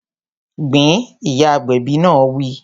Gbin! Ìyá agbẹ̀bi náà wí